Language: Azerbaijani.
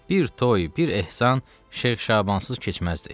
Bir toy, bir ehsan Şeyx Şabansız keçməzdi.